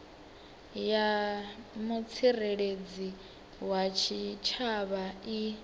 ya mutsireledzi wa tshitshavha i